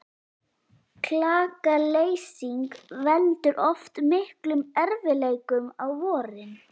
Klakaleysing veldur oft miklum erfiðleikum á vorin.